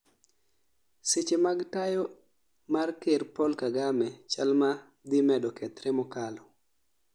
Seche mag tayo mar ker Paul Kagame chalma dhi medo kethre mokalo